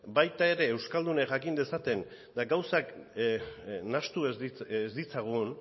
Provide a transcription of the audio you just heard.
baita ere euskaldunek jakin dezaten eta gauzak nahastu ez ditzagun